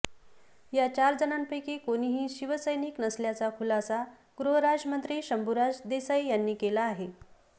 या चार जणांपैकी कोणीही शिवसैनिक नसल्याचा खुलासा गृहराज्यमंत्री शंभूराज देसाई यांनी केला आहे